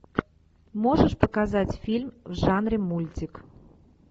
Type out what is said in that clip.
можешь показать фильм в жанре мультик